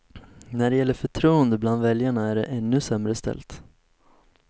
När det gäller förtroende bland väljarna är det ännu sämre ställt.